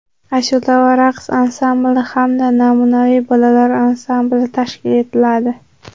ashula va raqs ansambli hamda namunaviy bolalar ansambli tashkil etiladi.